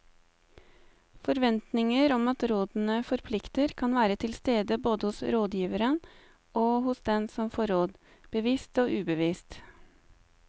Forventninger om at rådene forplikter kan være til stede både hos rådgiverne og hos den som får råd, bevisst og ubevisst.